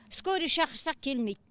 скорый шақырсақ келмейді